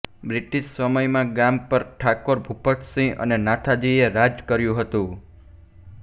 British સમયમાં ગામ પર ઠાકોર ભૂપતસિંહ અને નાથાજીએ રાજ કર્યું હતું